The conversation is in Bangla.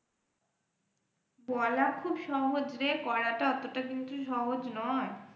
বলা খুব সহজ রে করাটা অতটা কিন্তু সহজ নয়।